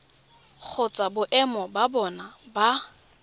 kgotsa boemo ba bona ba